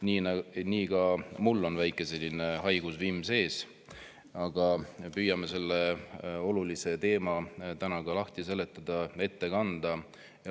Nii on ka mul väike haigusvimm sees, aga püüan selle olulise teema täna lahti seletada ja ette kanda.